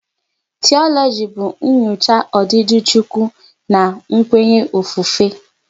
Tiologi bụ nyocha odidi Chukwu na kwenya ofufe